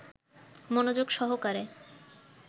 মনযোগ সহকারে